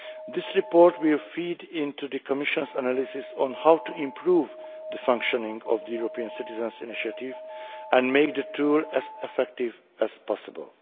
ECI. This report will feed into the Commission's analysis on how to improve the functioning of the European Citizens' Initiative and make the tool as effective as possible.